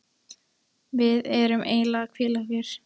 Við erum eiginlega að hvíla okkur.